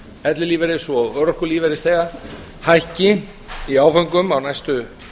ellilífeyris og örorkulífeyrisþega hækki í áföngum á næstu